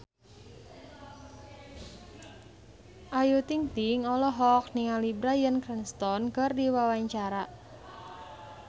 Ayu Ting-ting olohok ningali Bryan Cranston keur diwawancara